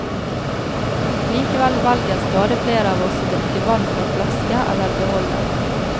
Likevel velger stadig flere av oss å drikke vann fra flaske eller beholder.